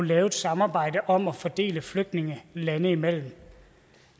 lave et samarbejde om at fordele flygtninge landene imellem